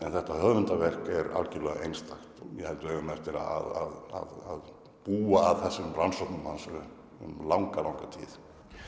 þetta höfundarverk er algjörlega einstakt ég held að við eigum eftir að búa að þessum rannsóknum hans um langa langa tíð